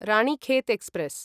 Ranikhet express